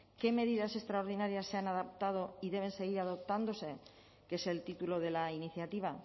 qué medidas extraordinarias se han adoptado y deben seguir adoptándose que es el título de la iniciativa